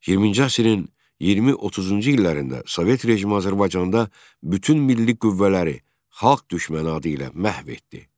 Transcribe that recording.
20-ci əsrin 20-30-cu illərində sovet rejimi Azərbaycanda bütün milli qüvvələri, xalq düşməni adı ilə məhv etdi.